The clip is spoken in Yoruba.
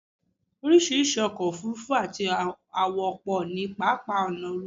oríṣiríṣi ọkọ̀ òfurufú àti àwọ̀ pọ̀ ní pápá ọ̀nà òfurufú